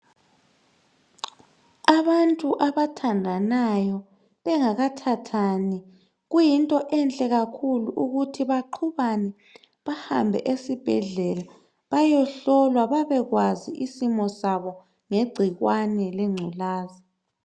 Abantu abathandanayo bengakathathani kuyinto enhle kakhulu ukuthi baqhubane bahambe esibhedlela bayehlolwa babekwazi isimo sabo ngegcikwane lengculaza.